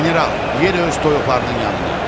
General, yerə öz toyuqlarının yanına.